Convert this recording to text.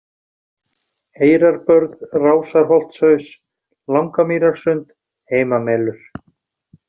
Eyrarbörð, Rásarholtshaus, Langamýrarsund, Heimamelur